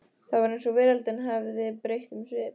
Það var eins og veröldin hefði breytt um svip.